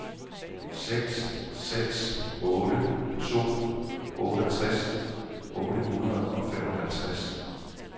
seks seks otte to otteogtres otte hundrede og femoghalvtreds